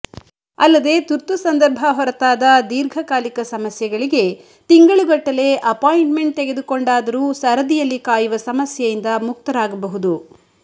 ಅಲ್ಲದೆ ತುರ್ತು ಸಂದರ್ಭ ಹೊರತಾದ ದೀರ್ಘಕಾಲೀಕ ಸಮಸ್ಯೆಗಳಿಗೆ ತಿಂಗಳುಗಟ್ಟಲೆ ಅಪಾಂಟ್ಮೆಂಟ್ ತೆಗೆದುಕೊಂಡು ಆದರೂ ಸರದಿಯುಲ್ಲಿ ಕಾಯುವ ಸಮಸ್ಯೆಯಿಂದ ಮುಕ್ತರಾಗಬಹುದು